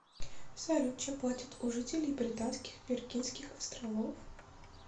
салют чем платят у жителей британских виргинских островов